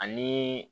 Ani